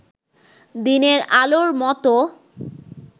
দিনের আলোর মতো